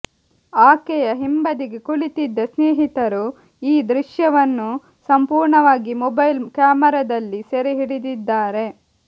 ಆಕೆಯ ಹಿಂಬದಿಗೆ ಕುಳಿತಿದ್ದ ಸ್ನೇಹಿತರು ಈ ದೃಶ್ಯವನ್ನು ಸಂಪೂರ್ಣವಾಗಿ ಮೊಬೈಲ್ ಕ್ಯಾಮರಾದಲ್ಲಿ ಸೆರೆ ಹಿಡಿದಿದ್ದಾರೆ